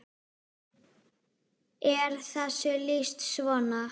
er þessu lýst svona